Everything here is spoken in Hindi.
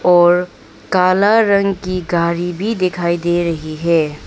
और काला रंग की गाड़ी भी दिखाई दे रही है।